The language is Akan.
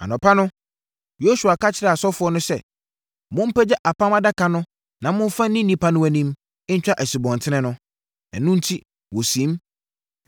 Anɔpa no, Yosua ka kyerɛɛ asɔfoɔ no sɛ, “Mompagya Apam Adaka no na momfa nni nnipa no anim ntwa asubɔnten no.” Ɛno enti wɔsiim.